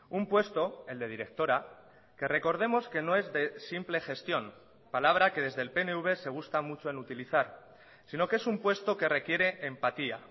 un puesto el de directora que recordemos que no es de simple gestión palabra que desde el pnv se gusta mucho en utilizar sino que es un puesto que requiere empatía